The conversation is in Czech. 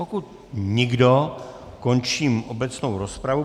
Pokud nikdo, končím obecnou rozpravu.